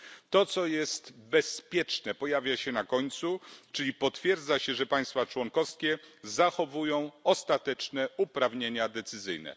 To, co jest bezpieczne, pojawia się na końcu, czyli potwierdza się, że państwa członkowskie zachowują ostateczne uprawnienia decyzyjne.